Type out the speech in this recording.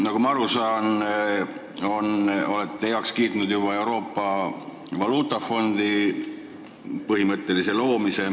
Nagu ma aru saan, olete põhimõtteliselt juba heaks kiitnud Euroopa Valuutafondi loomise.